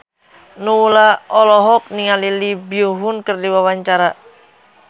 Nowela olohok ningali Lee Byung Hun keur diwawancara